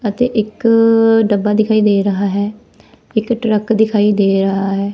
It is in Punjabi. ਅਤੇ ਇੱਕ ਡੱਬਾ ਦਿਖਾਈ ਦੇ ਰਿਹਾ ਹੈ ਇੱਕ ਟਰੱਕ ਦਿਖਾਈ ਦੇ ਰਿਹਾ ਹੈ।